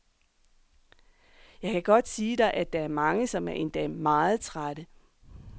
Jeg kan godt sige dig, at der er mange, som er endda meget trætte.